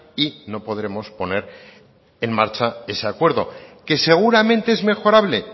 y no podremos poner en marcha ese acuerdo que seguramente es mejorable